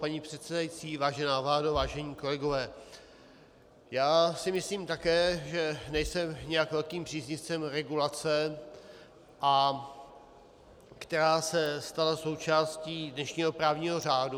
Paní předsedající, vážená vládo, vážení kolegové, já si myslím také, že nejsem nijak velkým příznivcem regulace, která se stala součástí dnešního právního řádu.